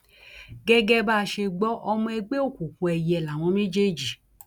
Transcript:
gẹgẹ bá a ṣe gbọ ọmọ ẹgbẹ òkùnkùn èìyẹ làwọn méjèèjì